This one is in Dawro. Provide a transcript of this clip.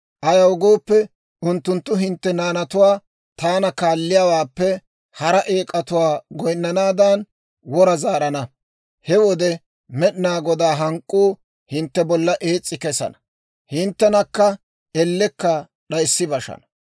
Ayaw gooppe, unttunttu hintte naanatuwaa taana kaalliyaawaappe hara eek'atuwaa goyinnanaadan, wora zaarana. He wode Med'inaa Godaa hank'k'uu hintte bolla ees's'i kesana; hinttenakka ellekka d'ayssi bashana.